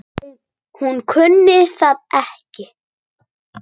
Hún kunni það ekki.